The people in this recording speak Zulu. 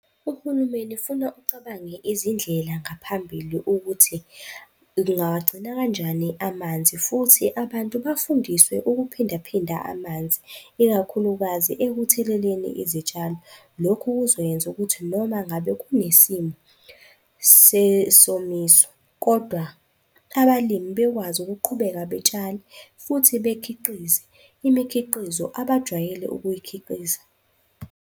Uhulumeni funa ucabange izindlela ngaphambili ukuthi kungawagcina kanjani amanzi futhi abantu bafundiswe ukuphindaphinda amanzi, ikakhulukazi ekutheleleni izitshalo. Lokhu kuzoyenza ukuthi noma ngabe kunesimo sesomiso, kodwa abalimi bekwazi ukuqhubeka betshale futhi bekhiqize imikhiqizo abajwayele ukuyikhiqiza.